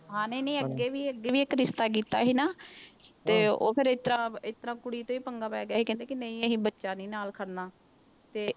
ਹਾਂ ਨਹੀਂ ਨਹੀਂ ਅੱਗੇ ਵੀ ਅੱਗੇ ਵੀ ਇੱਕ ਰਿਸਤਾ ਕੀਤਾ ਸੀ ਨਾ, ਤੇ ਉਹ ਫਿਰ ਇਸ ਤਰ੍ਹਾਂ ਇਸ ਤਰ੍ਹਾਂ ਕੁੜੀ ਤੋਂ ਹੀ ਪੰਗਾ ਪੈ ਗਿਆ ਸੀ, ਕਹਿੰਦੇ ਕਿ ਨਹੀਂ ਅਸੀਂ ਬੱਚਾ ਨੀ ਨਾਲ ਕਰਨਾ ਤੇ